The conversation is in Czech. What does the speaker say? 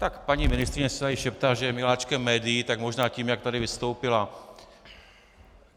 Tak paní ministryně si tady šeptá, že je miláčkem médií - tak možná tím, jak tady vystoupila.